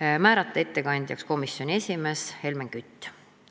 ja määrata ettekandjaks komisjoni esimees Helmen Kütt.